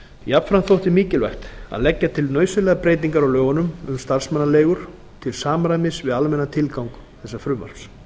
jafnframt þótti mikilvægt að leggja til nauðsynlegar breytingar á lögunum um starfsmannaleigur til samræmis við almennan tilgang þessa frumvarps